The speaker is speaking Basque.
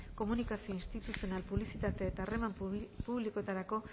komunikazio instituzional publizitate eta harreman publikoetarako